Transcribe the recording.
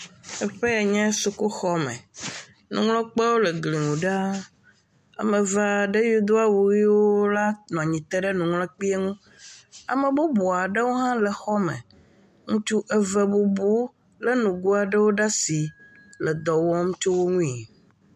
Ɖevio, wotsɔ enu srɔƒe gbɔ, nuyi ofia woa, Wova kɔe kɔ ɖe ekplɔ̃dzi ye wotsam ɖeka ɖeka ɖeka hafi woaƒo ƒoƒu.